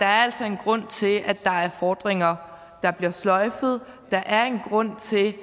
altså er en grund til at der er fordringer der bliver sløjfet at der er en grund til at